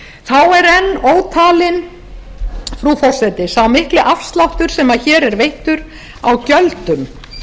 enn ótalinn frú forseti sá mikli afsláttur sem hér er veittur á gjöldum